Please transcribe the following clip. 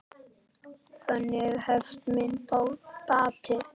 Þannig hefst minn bati.